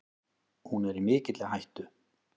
Hún er í mikilli hættu.